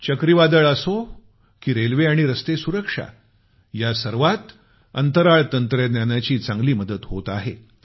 चक्रीवादळ असो की रेल्वे आणि रस्ते सुरक्षा या सर्वांत अंतराळ तंत्रज्ञानाची चांगली मदत होत आहे